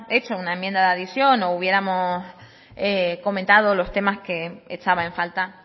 hecho una enmienda de adición o hubiéramos comentado los temas que echaba en falta